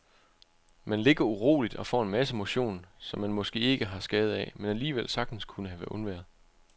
Man ligger uroligt og får en masse motion, som man måske ikke har skade af, men alligevel sagtens kunne have undværet.